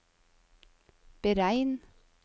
beregn